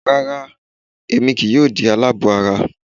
Rárá, Èmi kìí yoo di aláàbọ̀ ara